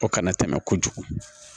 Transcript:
O kana tɛmɛ kojugu